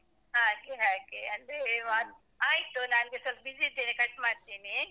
ಹಾಗೆ ಹಾಗೆ. ಅದೇವಾ ಆಯ್ತು ನಾನ್ ಸ್ವಲ್ಪ busy ಇದ್ದೇನೆ cut ಮಾಡ್ತಿನೀ.